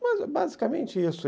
Mas é basicamente isso.